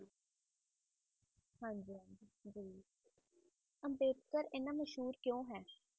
ਹਾਂਜੀ ਜੀ ਅੰਬੇਡਕਰ ਇੰਨਾ ਮਸ਼ਹੂਰ ਕਿਉ ਹੈ